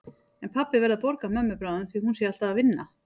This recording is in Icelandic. En pabbi verði að borga mömmu bráðum því hún sé alltaf að vinna.